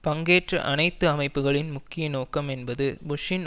பங்கேற்ற அனைத்து அமைப்புகளின் முக்கிய நோக்கம் என்பது புஷ்ஷின்